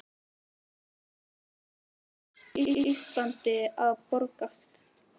Við þurfum þá peninga ef Ísland á að braggast.